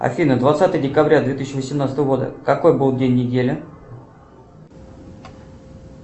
афина двадцатое декабря две тысячи восемнадцатого года какой был день недели